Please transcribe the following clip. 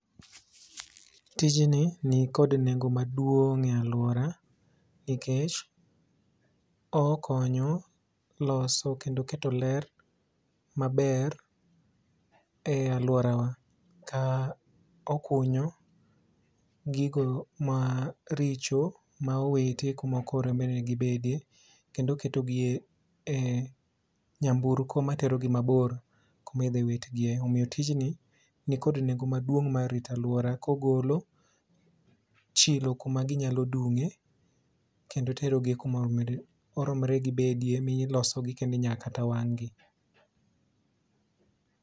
Tijni nikod nengo maduong' e alwora nikech okonyo loso kendo keto ler maber e alworawa ka okunyo gigo ma richo ma owiti kuma oknego ni gibedie kendo oketogi e nyamburko materogi mabor kumidhiwitgie. Omiyo tijni nikod nengo maduong' mar rito alwora kogolo chilo kumaginyalo dung'e kendo terogi kuma oromre gibedie milosogi kendo inya kata wang'gi.